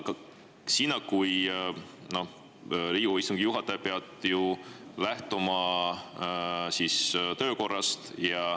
Sina kui Riigikogu istungi juhataja pead ju lähtuma töökorrast.